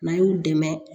N'a y'u dɛmɛ